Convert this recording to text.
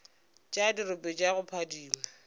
tša dirope tša go phadima